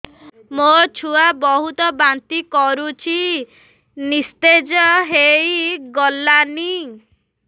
ମୋ ଛୁଆ ବହୁତ୍ ବାନ୍ତି କରୁଛି ନିସ୍ତେଜ ହେଇ ଗଲାନି